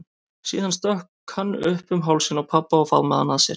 Síðan stökk hann upp um hálsinn á pabba og faðmaði hann að sér.